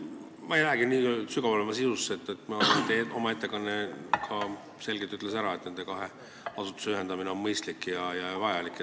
Ma ei lähegi nii sügavalt sisusse, teie ettekanne ütles selgelt ära, et nende kahe asutuse ühendamine on mõistlik ja vajalik.